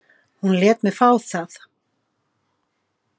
Hún lét mig fá það.